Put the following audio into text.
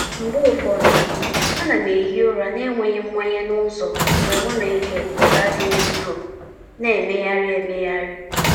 Mgbe ụfọdụ, ana m ehi ụra n'enweghi mmanye n’ụzọ mgbe m na-ege ụda dị nro, na-emegharị emegharị.